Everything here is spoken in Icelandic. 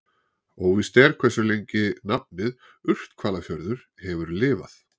Óvíst er hversu lengi nafnið Urthvalafjörður hefur lifað.